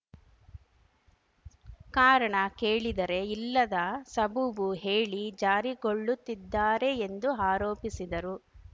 ಕಾರಣ ಕೇಳಿದರೆ ಇಲ್ಲದ ಸಬೂಬು ಹೇಳಿ ಜಾರಿಕೊಳ್ಳುತ್ತಿದ್ದಾರೆ ಎಂದು ಆರೋಪಿಸಿದರು